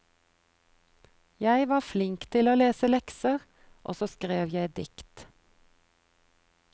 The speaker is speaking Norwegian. Jeg var flink til å lese lekser, og så skrev jeg dikt.